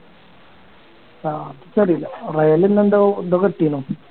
ആഹ് അപ്പൊ നിക്ക് അറിയില്ല റയലിന്ന് എന്തോ എന്തോ കിട്ടിയേനു